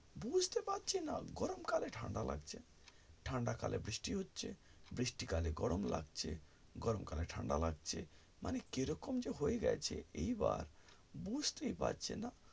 বুঝতে পারছি না গরম কালে ঠাণ্ডা লাগছে ঠান্ডা কালে বৃষ্টি হচ্ছে বৃষ্টি কালে গরম লাগছে গরম কালে ঠাণ্ডা লাগছে মানে কিরকম যে হয়ে যাচ্ছে এই বার বুঝতেই পারছিনা